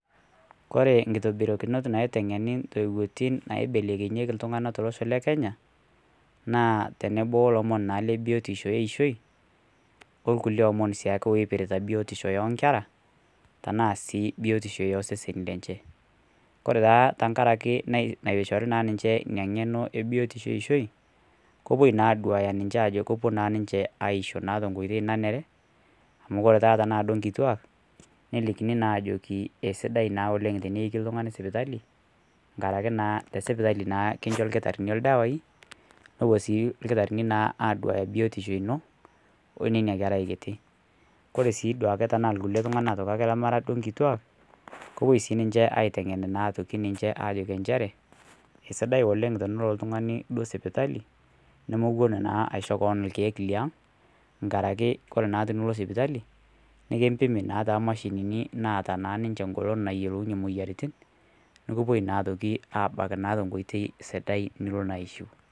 Kore nkitobirokinot naiteng'enii ntoiwotin naibelekenyekii ltung'anaa teloshoo le kenya naa teneboo olomon naa lebiotishoo eishoi olkulie omon siake eipiritaa bipotishoo enkeraa tanaa sii biotishoo osesenii lenshee kore taa tankarakee naishorii naa ninshee inia ng'eno ebiotishoo eishoi kopuoi naa aduaya ninshee ajo kiopuo naa ninshee aishoo naa tenkoitei naneree amu kore duo tanaa taa nkituak nelikinii naa ajokii eisidai naa oleng' teneikii ltung'ani sipitalii nkarakee naa tesipitalii naa kinshoo lkitarinii ldawai nopuo sii lkitarini naa aduayaa biotishoo inoo onenia kerai kirii kore sii duake tanaa lkulie tung'ana taake lemaraa nkituak kopuoi sii ninshee aiteng'en naa atokii ninshee ajokii ensheree eisidai oleng teneloo ltung'anii duo sipitalii nomowon naa awon aishoo koon lkeek le ang' nkarake kore naa tiniloo sipitalii nikimpimii naa te machinini naata naa ninshee ng'olon nayelounyee moyaritin nukupoi naa otokii abaki tenkoitei sidai niloo naa aishiu.